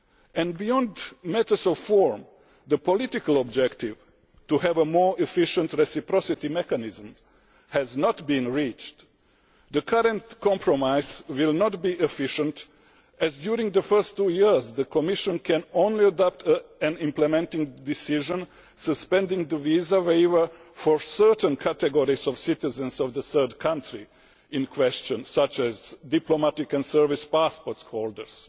And beyond matters of form, the political objective to have a more efficient reciprocity mechanism has not been reached. The current compromise will not be efficient, as during the first two years the Commission can only adopt an implementing decision suspending the visa waiver for certain categories of citizens of the third country in question, such as diplomatic and service passport holders.